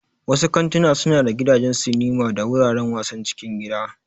Wasu kantuna suna da gidajen sinima da wuraren wasan cikin gida.